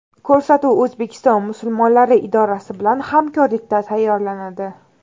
Ko‘rsatuv O‘zbekiston musulmonlari idorasi bilan hamkorlikda tayyorlanadi.